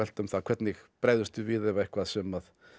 um það hvernig bregðumst við við ef eitthvað sem